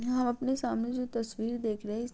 यहाँ हम अपने सामने जो तस्वीर देख रहे है इस --